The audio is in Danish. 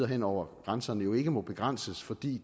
hen over grænserne jo ikke må begrænses fordi